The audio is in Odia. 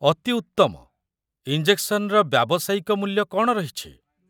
ଅତି ଉତ୍ତମ। ଇଞ୍ଜେକ୍ସନର ବ୍ୟାବସାୟିକ ମୂଲ୍ୟ କ'ଣ ରହିଛି?